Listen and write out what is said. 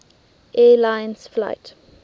air lines flight